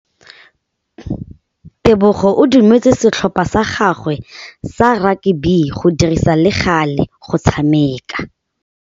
Tebogô o dumeletse setlhopha sa gagwe sa rakabi go dirisa le galê go tshameka.